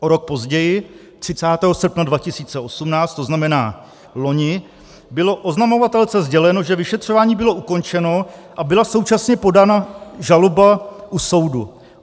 O rok později, 30. srpna 2018, to znamená loni, bylo oznamovatelce sděleno, že vyšetřování bylo ukončeno a byla současně podána žaloba u soudu.